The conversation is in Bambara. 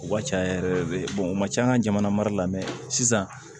U ka ca yɛrɛ yɛrɛ de u ma ca an ka jamana mara la sisan